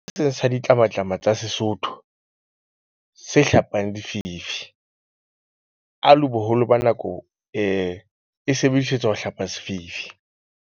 Sa ditlamatlama tsa Sesotho se hlapang lefifi alo, boholo ba nako e sebedisetswa ho hlapa sefifi.